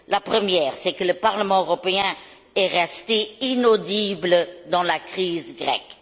La première, c'est que le Parlement européen est resté inaudible dans la crise grecque.